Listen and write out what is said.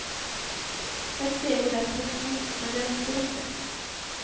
Ett steg i rätt riktning, men det räcker inte.